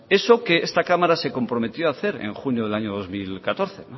eso que esta cámara se comprometió hacer en junio del año dos mil catorce